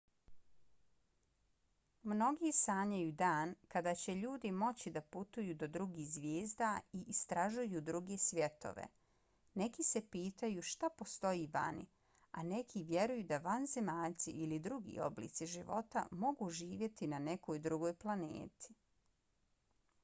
mnogi sanjaju dan kada će ljudi moći da putuju do drugih zvijezda i istražuju druge svjetove. neki se pitaju šta postoji vani a neki vjeruju da vanzemaljci ili drugi oblici života mogu živjeti na nekoj drugoj planeti